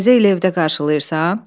Təzə ili evdə qarşılayırsan?